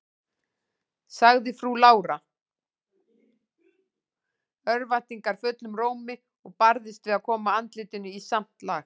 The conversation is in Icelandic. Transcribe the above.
sagði frú Lára örvæntingarfullum rómi, og barðist við að koma andlitinu í samt lag.